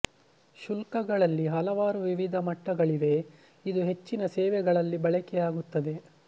ಶುಲ್ಕಗಳಲ್ಲಿ ಹಲವಾರು ವಿವಿಧ ಮಟ್ಟಗಳಿವೆ ಇದು ಹೆಚ್ಚಿನ ಸೇವೆಗಳಲ್ಲಿ ಬಳಕೆಯಾಗುತ್ತದೆ